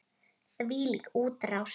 Þvílík útrás!